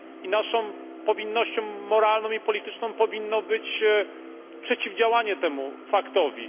Naszą powinnością moralną i polityczną powinno być przeciwdziałanie temu faktowi.